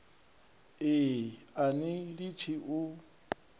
e a ni litshi u